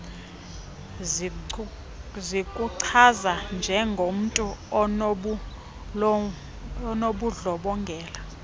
zikuchaza njengomntu onobundlobongela